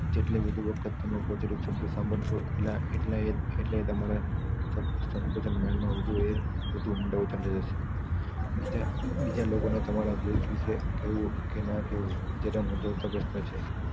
જેટલું વધુ વખત તમે positive શબ્દો સાંભળશો એટલા એ જ એટલે તમારા સંકૂચન mind માં વધુ એ વધુ ઊંડા ઉતરતા જાશે બીજા લોકોના તમારા ભૂલ વિશે કેવું કે ના કેવું જે મુદ્દો તપાસવા જેવુ છે